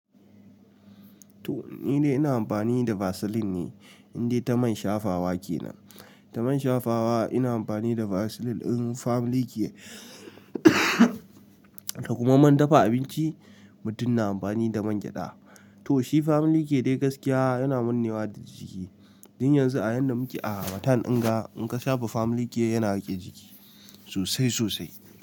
To ni dai ina amfani da Vaseline ne, indai ta man shafawa kenan. Ta man shafawa ina amfani da Vaseline in famlikiya da kuma man dafa abinci, mutum na amfani da man gyaɗa. To shi famlikiya dai gaskiya yana manne wa da jiki. Jin yanzu a yadda muke a hamatan ɗanga, in ka shafa famlikiya yana riƙe jiki sosai sosai.